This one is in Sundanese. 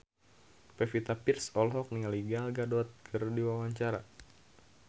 Pevita Pearce olohok ningali Gal Gadot keur diwawancara